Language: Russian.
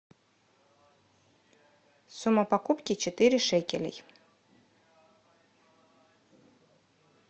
сумма покупки четыре шекелей